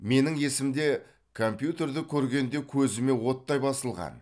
менің есімде компьютерді көргенде көзіме оттай басылған